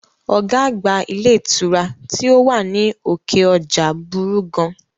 Ọ̀gá àgbà ilé ìtura tí ó wà ní òkè ọjà burú gan